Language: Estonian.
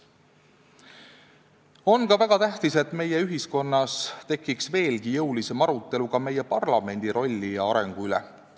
On väga tähtis, et meie ühiskonnas tekiks veelgi jõulisem arutelu ka parlamendi rolli ja arengu üle.